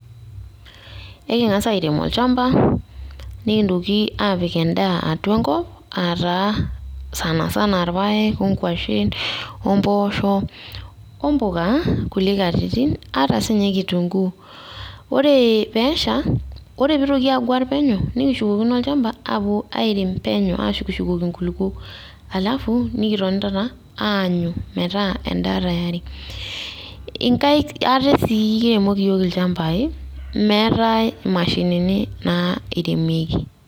Eking'as airem olchamba, nekintoki aapik endaa atua enkop aa taa sana sana ilpaek o nguashin o mbosho o mboka kulie katitin, ata siininye kitunguu. Ore peesha, ore peitoki aguar penyo nekishukokino olchamba aawuo airem penyo ashukoki shukoki inkulukuok, halafu, nikitoni taata aanyu metaa endaa tayari inkaik ate sii kiremoki iyook ilchambai, meetai imashinii nairemieki.